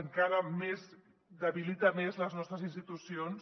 encara debilita més les nostres institucions